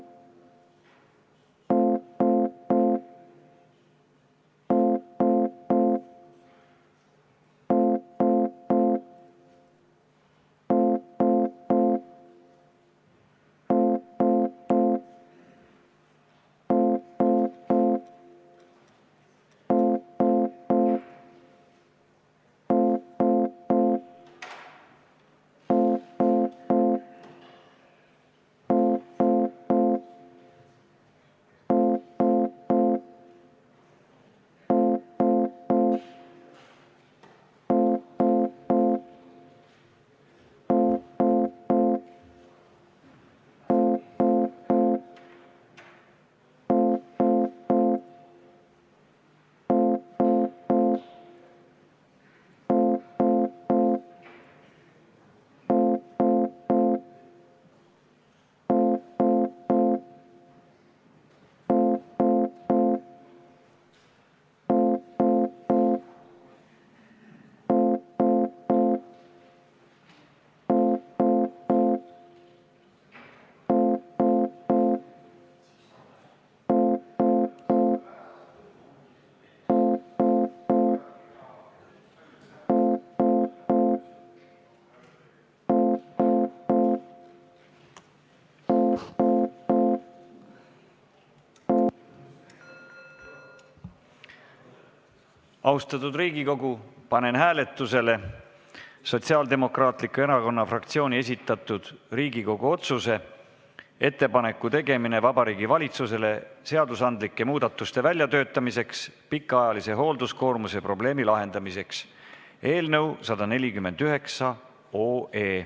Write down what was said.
Austatud Riigikogu, panen hääletusele Sotsiaaldemokraatliku Erakonna fraktsiooni esitatud Riigikogu otsuse "Ettepaneku tegemine Vabariigi Valitsusele seadusandlike muudatuste väljatöötamiseks pikaajalise hoolduskoormuse probleemi lahendamiseks" eelnõu 149.